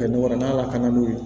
Ka dɔ wɛrɛ n'a lakananen don